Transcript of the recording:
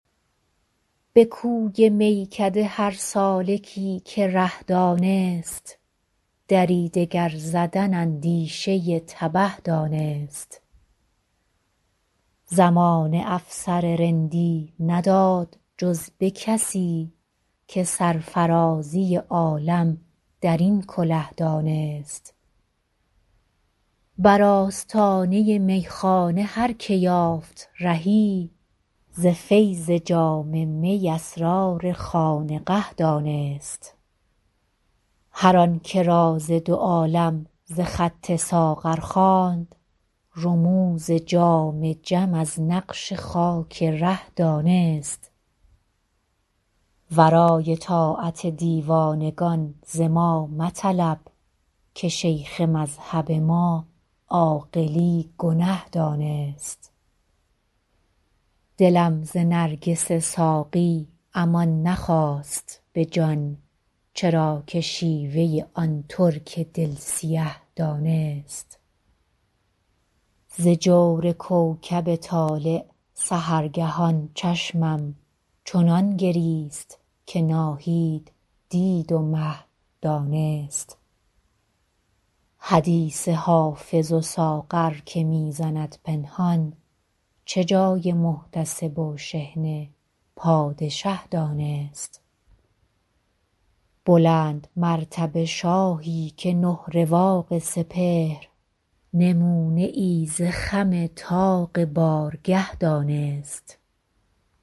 به کوی میکده هر سالکی که ره دانست دری دگر زدن اندیشه تبه دانست زمانه افسر رندی نداد جز به کسی که سرفرازی عالم در این کله دانست بر آستانه میخانه هر که یافت رهی ز فیض جام می اسرار خانقه دانست هر آن که راز دو عالم ز خط ساغر خواند رموز جام جم از نقش خاک ره دانست ورای طاعت دیوانگان ز ما مطلب که شیخ مذهب ما عاقلی گنه دانست دلم ز نرگس ساقی امان نخواست به جان چرا که شیوه آن ترک دل سیه دانست ز جور کوکب طالع سحرگهان چشمم چنان گریست که ناهید دید و مه دانست حدیث حافظ و ساغر که می زند پنهان چه جای محتسب و شحنه پادشه دانست بلندمرتبه شاهی که نه رواق سپهر نمونه ای ز خم طاق بارگه دانست